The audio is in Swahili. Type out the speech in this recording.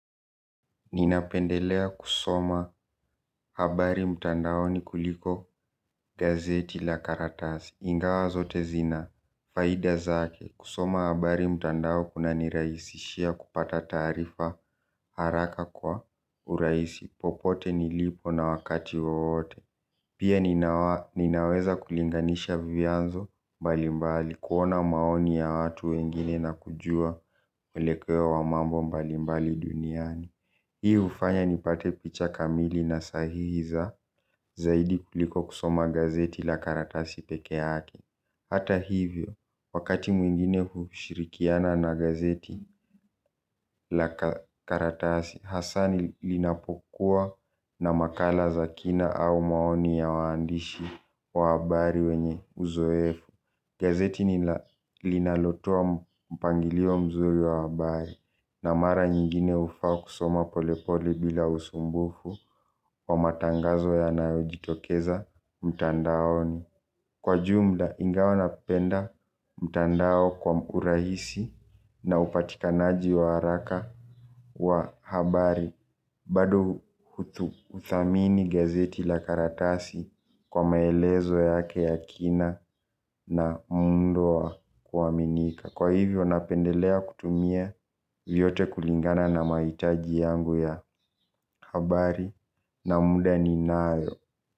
Ninapendelea kusoma habari mtandaoni kuliko gazeti la karatasi. Ingawa zote zina, faida zake kusoma habari mtandao kunaniraisishia kupata taarifa haraka kwa urahisi popote nilipo na wakati wote. Pia ninaweza kulinganisha vianzo mbalimbali. Kuona maoni ya watu wengine na kujua mwelekeo wa mambo mbalimbali duniani. Hii hufanya nipate picha kamili na sahihi za zaidi kuliko kusoma gazeti la karatasi pekee yake. Hata hivyo, wakati mwingine kushirikiana na gazeti la karatasi, hasaa linapokuwa na makala za kina au maoni ya waandishi wa habari wenye uzoefu. Gazeti linalotoa mpangilio mzuri wa habari na mara nyingine hufaa kusoma polepole bila usumbufu wa matangazo yanayojitokeza mtandaoni. Kwa jumla ingawa napenda mtandao kwa mkurahisi na upatikanaji wa haraka wa habari bado huthamini gazeti la karatasi kwa maelezo yake ya kina na muundo wa kuaminika. Kwa hivyo napendelea kutumia vyote kulingana na mahitaji yangu ya habari na muda ninayo.